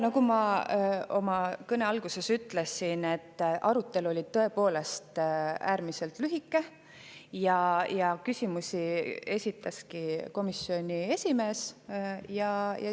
Nagu ma oma kõne alguses ütlesin, arutelu oli tõepoolest äärmiselt lühike ja küsimusi esitas komisjoni esimees.